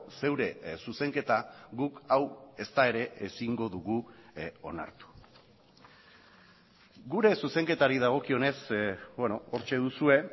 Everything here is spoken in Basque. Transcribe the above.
zeure zuzenketa guk hau ezta ere ezingo dugu onartu gure zuzenketari dagokionez hortxe duzue